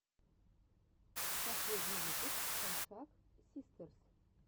последний выпуск хашак систерс